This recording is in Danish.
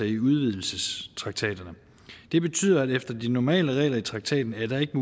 i udvidelsestraktaterne og det betyder at efter de normale regler i traktaten er der ikke